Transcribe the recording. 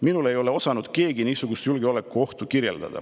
"Minule ei ole osanud keegi niisugust julgeolekuohtu kirjeldada."